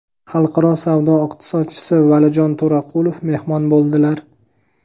xalqaro savdo iqtisodchisi Valijon To‘raqulov mehmon bo‘ldilar.